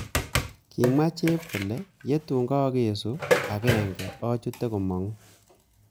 Kimwa chep kole,"ye tun kagesu ag'enge achute komong'."